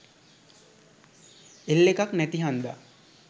L එකක් නැති හන්ද